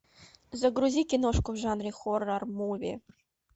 загрузи киношку в жанре хоррор муви